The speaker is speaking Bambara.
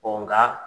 nka